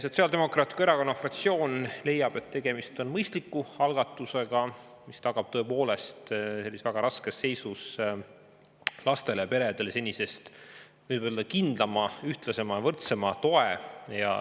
Sotsiaaldemokraatliku Erakonna fraktsioon leiab, et tegemist on mõistliku algatusega, mis tagab tõepoolest väga raskes seisus lastele ja peredele senisest kindlama, ühtlasema ja võrdsema toe.